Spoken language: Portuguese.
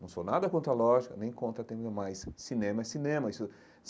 Não sou nada contra a lógica, nem contra a teoria, mas cinema é cinema isso.